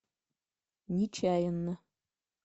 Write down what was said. нечаянно